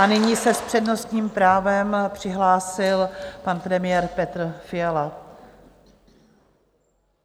A nyní se s přednostním právem přihlásil pan premiér Petr Fiala.